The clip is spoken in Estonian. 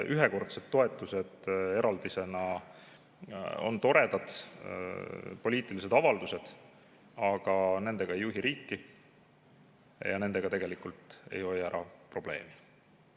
Ühekordsed toetused eraldisena on toredad poliitilised avaldused, aga nendega ei juhi riiki ja nendega ei hoia ära probleemi.